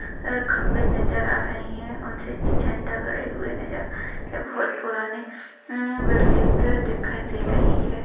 अह खम्बे नजर आ रहे हैं उनसे झंडा गड़े हुए नजर आ है। बहुत पुराने हम्म बिल्डिंग भी दिखाई दे रही है।